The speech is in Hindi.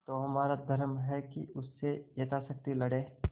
तो हमारा धर्म है कि उससे यथाशक्ति लड़ें